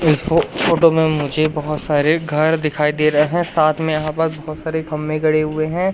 इस फोट फोटो में मुझे बहुत सारे घर दिखाई दे रहे हैं साथ में यहां पर बहुत सारे खंबे गड़े हुए हैं।